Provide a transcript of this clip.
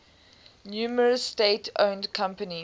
numerous state owned companies